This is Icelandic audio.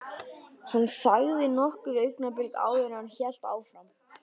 Hann þagði nokkur augnablik áður en hann hélt áfram.